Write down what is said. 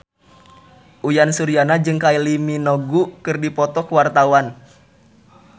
Uyan Suryana jeung Kylie Minogue keur dipoto ku wartawan